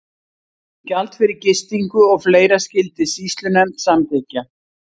Gjald fyrir gistingu og fleira skyldi sýslunefnd samþykkja.